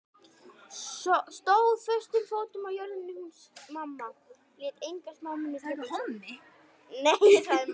Stóð föstum fótum á jörðinni hún mamma, lét enga smámuni trufla sig.